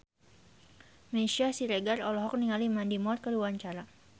Meisya Siregar olohok ningali Mandy Moore keur diwawancara